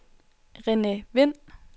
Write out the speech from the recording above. Rene Vind